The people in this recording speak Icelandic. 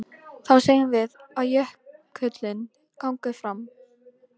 Þá segjum við að jökullinn gangi fram.